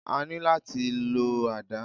A ní láti lọ àdá.